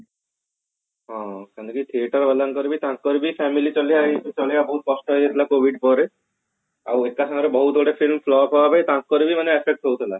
ହଁ ସେମିତି ଥିୟେଟର ବାଲାଙ୍କର ତାଙ୍କର ବି family ବହୁତ କଷ୍ଟ ହେଇଯାଇଥିଲା covid ପରେ ଆଉ ଏକ ସାଙ୍ଗରେ ବହୁତ ଗୁଡେ film flop ହେବାରୁ ତାଙ୍କର ବି ମାନେ affect ହଉ ଥିଲା